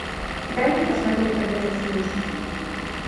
дай мне посмотреть продавец игрушек